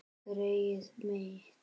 Greyið mitt